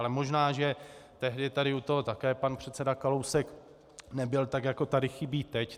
Ale možná že tehdy tady u toho také pan předseda Kalousek nebyl, tak jako tady chybí teď.